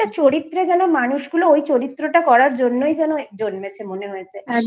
চরিত্রে যেন মানুষগুলো ওই চরিত্র টা করার জন্যই যেন জন্মেছে মনে হয়েছে।